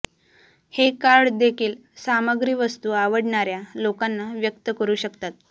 हे कार्ड देखील सामग्री वस्तू आवडणार्या लोकांना व्यक्त करू शकतात